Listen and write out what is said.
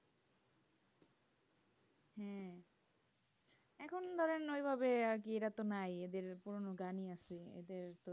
হ্যাঁ, এখন ধরেন ওইভাবে তো নাই এদের পুরোনো গানই আছে